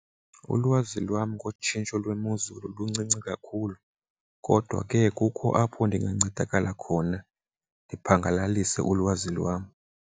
Ulwazi lwam ngotshintsho lwemozulu luncinci kakhulu kodwa ke kukho apho ndingancedakala khona ndiphangelalise ulwazi lwam.